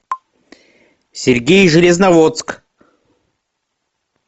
сергей железноводск